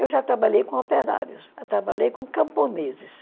Eu já trabalhei com operários, já trabalhei com camponeses.